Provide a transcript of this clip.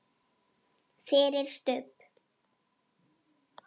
FYRIR STUBB!